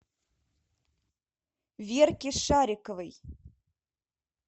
верки шариковой